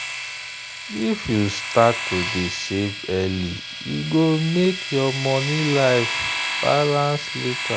if you start to dey save early e go make your money life balance later.